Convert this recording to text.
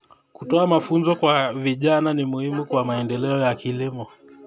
Kutoa mafunzo kwa vijana ni muhimu kwa maendeleo ya kilimo.